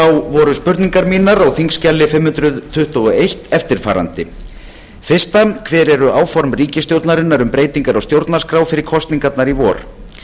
voru spurningar mínar á þingskjali fimm hundruð tuttugu og eitt eftirfarandi fyrsta hver eru áform ríkisstjórnarinnar um breytingar á stjórnarskrá fyrir kosningar í vor